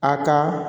A ka